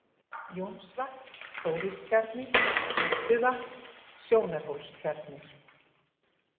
Jónsvatn, Þóristjarnir, Gedduvatn, Sjónarhólstjarnir